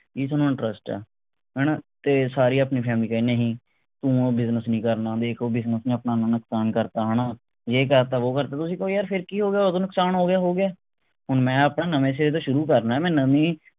ਵੀ ਥੋਨੂੰ interest ਹੈ ਹਣਾ ਤੇ ਸਾਰੀ ਆਪਣੀ family ਕਹੇ ਨਹੀਂ ਤੂੰ ਉਹ business ਨਹੀਂ ਕਰਨਾ ਦੇਖ ਉਹ business ਨੇ ਆਪਣਾ ਇੰਨਾ ਨੁਕਸਾਨ ਕਰਤਾ ਹਣਾ ਜੇ ਕਰਤਾ ਵੋ ਕਰਤਾ ਤੁਸੀਂ ਕਹੋ ਯਾਰ ਫੇਰ ਕਿ ਹੋ ਗਿਆ ਓਦੋਂ ਨੁਕਸਾਨ ਹੋ ਗਿਆ ਹੋ ਗਿਆ ਹੁਣ ਮੈਂ ਆਪਣਾ ਨਵੇਂ ਸਿਰੇ ਤੋਂ ਸ਼ੁਰੂ ਕਰਨੇ ਮੈਂ ਨਵੀ